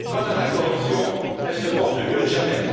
Quant à la corruption, elle se porte mieux que jamais.